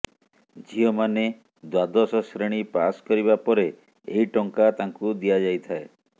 ଝିଅମାନେ ଦ୍ୱାଦଶ ଶ୍ରେଣୀ ପାସ କରିବା ପରେ ଏହି ଟଙ୍କା ତାଙ୍କୁ ଦିଆଯାଇଥାଏ